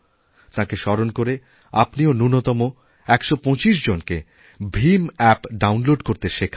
তাঁকে স্মরণ করে আপনিও ন্যূণতম ১২৫ জনকে ভীম অ্যাপ্ডাউনলোড করতে শেখান